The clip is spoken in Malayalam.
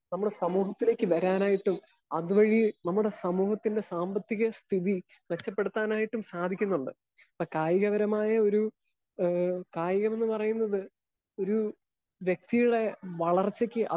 സ്പീക്കർ 1 നമ്മളെ സമൂഹത്തിലേക്ക് വരാനായിട്ടും അത് വഴി നമ്മുടെ സമൂഹത്തിന്റെ സാമ്പത്തിക സ്ഥിതി മെച്ചപ്പെടുത്താനായിട്ടും സാധിക്കുന്നുണ്ട്. ഇപ്പൊ കായിക പരമായ ഒരു ഏഹ് കായികം എന്ന് പറയുന്നത് ഒരു വ്യക്തിയുടെ വളർച്ചക്ക്